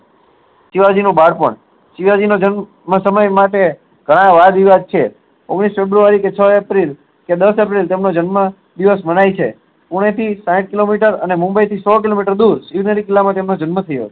શિવાજી નું બાળપણ શિવાજી નો જન્મ માં સમય માટે ગણાય વાદ વિવાદ છે ઓગણીસ february કે છ april કે દસ april તેમનો જન્મ દિવસ મનાય છે પુણે થી સાઈઠ કિલોમીટર અને મુંબઈ થી સો કિલોમીટર શીવ નેર કિલ્લા માં એમનો જન્મ થયો